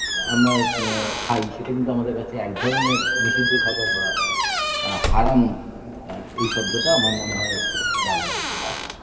আমরা আ খাই সেটা কিন্তু আমাদের কাছে একধরনের নিষিদ্ধ খাবার বা আ হারাম এই শব্দটা আমার মনে হয় ব্যবহার করতে পারি